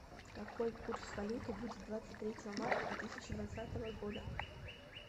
какой курс валюты будет двадцать третьего марта две тысячи двадцатого года